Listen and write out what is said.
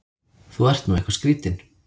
Þú ert nú eitthvað skrýtinn!